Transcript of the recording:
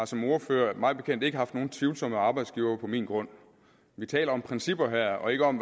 som ordfører mig bekendt ikke haft nogen tvivlsomme arbejdsgivere på min grund vi taler om principper her og ikke om